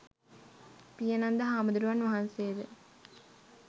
පියනන්ද හාමුදුරුවන් වහන්සේ ද